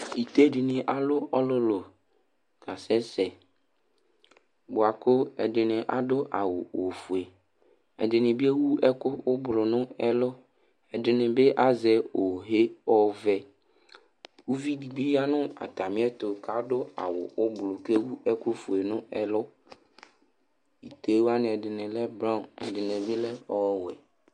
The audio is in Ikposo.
Ite dɩnɩ alʋ ɔlʋlʋ kasɛsɛ bʋa kʋ ɛdɩnɩ adʋ awʋ ofue Ɛdɩnɩ bɩ ewu ɛkʋ ʋblʋ nʋ ɛlʋ Ɛdɩnɩ bɩ azɛ oxe ɔvɛ Uvi dɩ bɩ ya nʋ atamɩɛtʋ kʋ adʋ awʋ ʋblʋ kʋ ewu ɛkʋfue nʋ ɛlʋ Ite wanɩ, ɛdɩnɩ lɛ braɔn kʋ ɛdɩnɩ lɛ ɔwɛ